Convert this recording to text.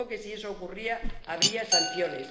Se dijo que si eso ocurría habría sanciones.